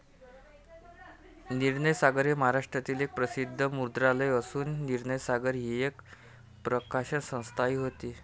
निर्णयसागर हे महाराष्ट्रातील एक प्रसिद्ध मुद्रणालय असून निर्णयसागर ही एक प्रकाशनसंस्थाही होती.